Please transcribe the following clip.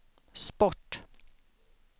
sport